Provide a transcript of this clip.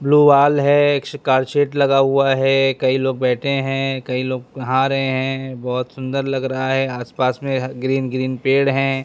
Blue wall है set लगा हुआ है कई लोग बैठे हैं कई लोग नहा रहे हैं बहुत सुंदर लग रहा है आसपास में ग्रीन ग्रीन पेड़ हैं।